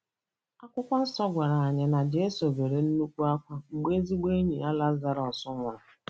Akwụkwọ nsọ gwara Anyị na Jesu bere nnukwu akwa mgbe ezigbo enyi ya Lazarus nwụrụ